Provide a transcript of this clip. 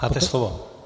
Máte slovo.